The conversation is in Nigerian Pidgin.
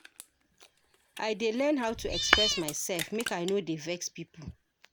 I dey learn how to express myself, make I no dey vex pipo.